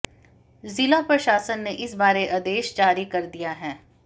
जिला प्रशासन ने इस बारे आदेश जारी कर दिया है